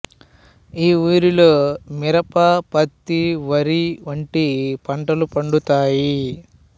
ఈ ఊరిలో మిరప ప్రత్తి వరి వంటి పంటలు పండుతాయి